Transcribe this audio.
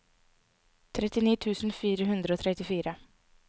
trettini tusen fire hundre og trettifire